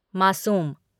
मासूम